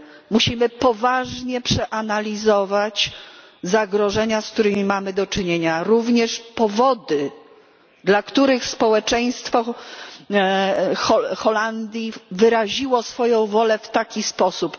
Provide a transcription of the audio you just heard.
Musimy poważnie przeanalizować zagrożenia, z którymi mamy do czynienia. Również powody, dla których społeczeństwo Holandii wyraziło swoją wolę w taki sposób.